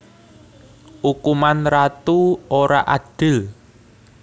Ukuman Ratu ora adil